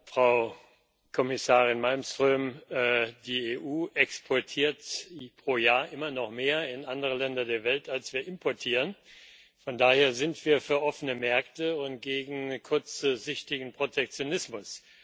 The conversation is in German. Frau Präsidentin, Frau Kommissarin Malmström! Die EU exportiert pro Jahr immer noch mehr in andere Länder der Welt, als wir importieren. Von daher sind wir für offene Märkte und gegen kurzsichtigen Protektionismus.